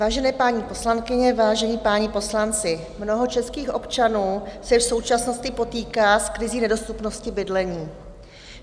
Vážené paní poslankyně, vážení páni poslanci, mnoho českých občanů se v současnosti potýká s krizí nedostupnosti bydlení.